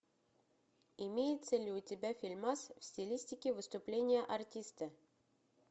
имеется ли у тебя фильмас в стилистике выступление артиста